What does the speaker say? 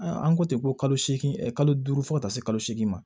An ko ten ko kalo segin kalo duuru fo ka taa se kalo segin ma